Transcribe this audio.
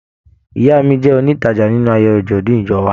Ìyá mí jẹ onitaja nínú ayẹyẹ ajọdun ìjọ wà.